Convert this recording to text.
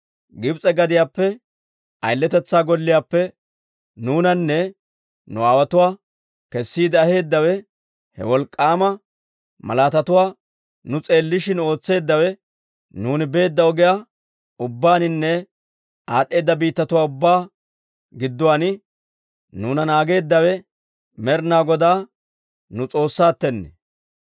Gibs'e gadiyaappe, ayiletetsaa golliyaappe, nuunanne nu aawotuwaa kessiide aheedawe, he wolk'k'aama malaatatuwaa nu s'eellishin ootseeddawe, nuuni beedda ogiyaa ubbaaninne aad'd'eeda biittatuwaa ubbaa gidduwaan nuuna naageeddawe, Med'ina Godaa nu S'oossaattenne.